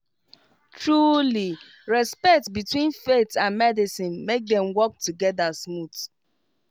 trulyrespect between faith and medicine make dem work together smooth